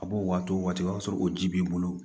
A b'o waati o waati o b'a sɔrɔ o ji b'i bolo